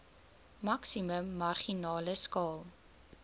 maksimum marginale skaal